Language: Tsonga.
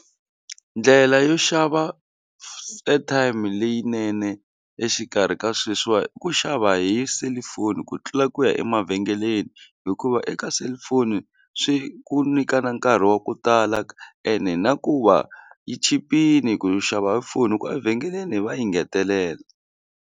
Ndlela yo xava airtime leyinene exikarhi ka sweswiwa i ku xava hi selufoni ku tlula ku ya emavhengeleni hikuva eka cellphone swi ku nyika na nkarhi wa ku tala ene na ku va yi chipile ku xava hi foni hikuva evhengeleni va yi ngetelela.